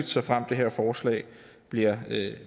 såfremt det her forslag bliver